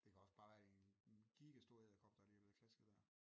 Det kan også bare være en giga stor edderkop der lige er blevet klasket dér